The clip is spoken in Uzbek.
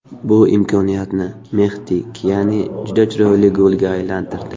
Bu imkoniyatni Mehdi Kiani juda chiroyli golga aylantirdi.